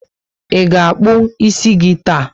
I ga akpu ísì gị taa?